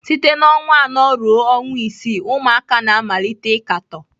Site na ọnwa anọ ruo ọnwa isii, ụmụaka na-amalite ịkatọ.